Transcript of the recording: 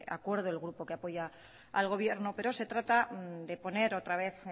acuerdo el grupo que apoya al gobierno pero se trata de poner otra vez